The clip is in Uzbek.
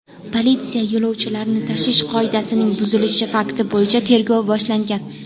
Politsiya yo‘lovchilarni tashish qoidasining buzilishi fakti bo‘yicha tergov boshlagan.